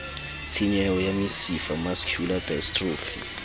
tshenyeho ya mesifa mascular dystrophy